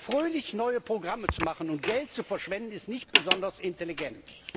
Fröhlich neue Programme zu machen und Geld zu verschwenden, ist nicht besonders intelligent.